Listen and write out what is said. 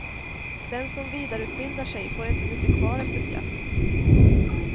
Den som vidareutbildar sig får inte mycket kvar efter skatt.